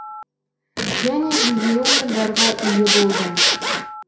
және жүлделі орындарға ие болдым